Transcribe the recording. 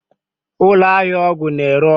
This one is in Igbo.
Ụlọ ahịa ọgwụ na-ere ọgwụ